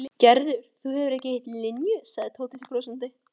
Gerður, þú hefur ekki hitt Linju sagði Tóti brosandi.